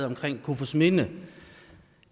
omkring kofoedsminde